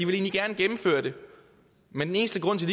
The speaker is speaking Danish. ville gennemføre det men den eneste grund til